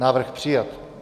Návrh přijat.